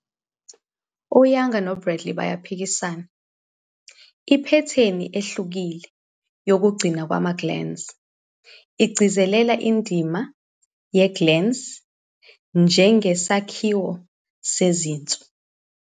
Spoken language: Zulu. U-Yang noBradley baphikisana, "iphethini ehlukile yokugcinwa kwama-glans igcizelela indima ye-glans njengesakhiwo sezinzwa".